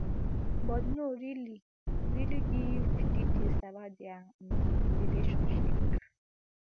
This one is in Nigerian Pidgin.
but no really really give details about dia um relationship